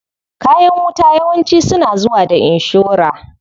Kayan wuta yawanci suna zuwa da inshora.